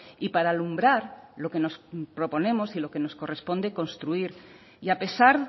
y para alumbrar lo que nos proponemos y lo que nos corresponde construir y a pesar